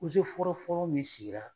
fɔrɔfɔrɔ min sigira